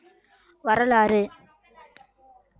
வரலாறு